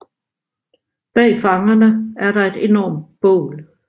Bag fangerne er der et enormt bål